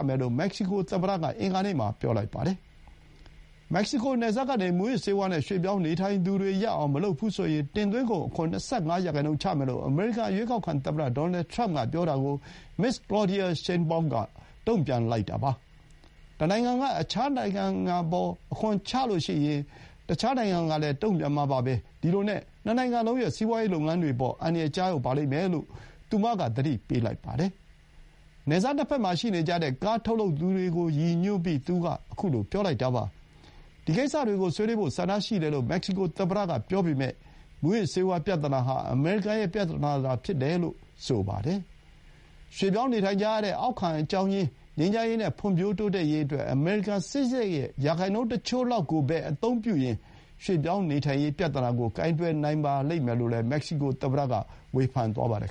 မယ်လို့ မက္ကဆီကို သမ္မတက အင်္ဂါနေ့မှာ ပြောလိုက်ပါတယ်။ နယ်စပ်ကနေ မူးယစ်ဆေးဝါး နဲ့ ရွှေ့ပြောင်းနေထိုင်သူတွေ ရပ်အောင် မလုပ်ဘူးဆိုရင်၊ တင်သွင်းကုန် အခွန် ၂၅ ရာခိုင်နှုန်း ချမယ်လို့ အမေရိကန်ရွေးကောက်ခံ သမ္မတ ဒေါ်နယ်ထရမ့်က ပြောတာကို မက္ကဆီကိုသမ္မတ Claudia Sheinbaum က တုံ့ပြန်လိုက်တာပါ။ "တနိုင်ငံက အခြားတနိုင်ငံအပေါ် အခွန်တိုးမြှင့်ရင် အခြားတနိုင်ငံကလည်း အလားတူ တုံ့ပြန်မှာပါပဲ။ ဒီလိုနဲ့ နှစ်နိုင်ငံလုံးရဲ့ စီးပွါးရေး လုပ်ငန်းတွေ အပေါ် အန္တရာယ် ကျရောက်လိမ့်မယ်" လို့ သူမက သတိပေးလိုက်ပါတယ်။ နယ်စပ် နှစ်ဘက်မှာ ရှိနေကြတဲ့ အမေရိကန် ကားထုတ်လုပ်သူတွေကို ရည်ညွှန်းပြီး သူက အခုလို ပြောလိုက်တာပါ။ ဒီကိစ္စတွေကို ဆွေးနွေးဖို့ ဆန္ဒရှိတယ်လို့ မက္ကဆီကို သမ္မတက ပြောပေမဲ့၊ မူးယစ်ဆေးဝါး ပြဿနာ ဟာ အမေရိကန် ရဲ့ ပြဿနာသာ ဖြစ်တယ်လို့လည်း ဆိုပါတယ်။ ရွှေ့ပြောင်းနေထိုင်ကြရတဲ့ အရင်းခံ အကြောင်းရင်း ငြိမ်းချမ်းရေး နဲ့ ဖွံဖြိုး တိုးတက်ရေးအတွက် အမေရိကန် စစ်စားရိတ်ရဲ့ ရာခိုင်နှုန်းတချို့လောက်ကိုပဲ အသုံးပြုရင်၊ ရွှေ့ပြောင်းနေထိုင်ရေး ပြဿနာကို ကိုင်တွယ်နိုင်ပါလိမ့်မယ်လို့လည်း မက္ကဆီကို သမ္မတ က ဝေဖန်သွားပါတယ်